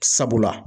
Sabula